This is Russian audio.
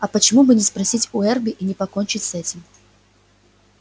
а почему бы не спросить у эрби и не покончить с этим